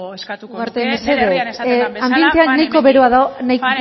nuke nire herrian esaten den bezala pare hemendik ugarte mesedez anbientea nahiko beroa dago